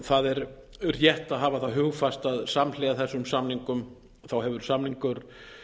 það er rétt að hafa það hugfast að samhliða þessum samningum hefur samningur